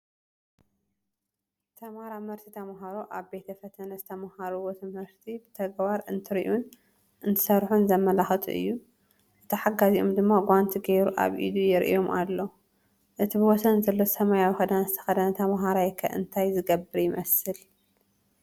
ተመራመርቲ ተምሃሮ ኣብ ቤተ ፈተነ ዝተማሃሩዎ ትምህርቲ ብተግባር እንትሪኡን እንትሰርሑን ዘመላኽት እዩ፡፡ እቲ ሓጋዚኦም ድማ ጓንት ጌይሩ ኣብ ኢዱ የርእዮም ኣሎ፡፡ እቲ ብወሰን ዘሎ ሰማያዊ ክዳን ዝተኸደነ ተምሃራይ ከ እንታይ ዝገብር ይመስል?